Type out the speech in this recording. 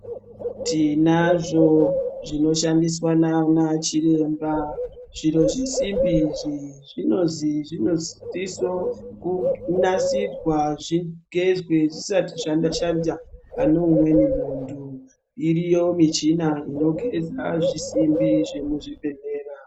Tinazvo zvinoshandiswa naana Chiremba. Zviro zvisimbi izvi zvinozi zvinosiso kunasirwa, zvigezwe zvisati zvashanda pane umweni muntu. Iriyo michina inogeza zvisimbi zvemuzvibhendlera.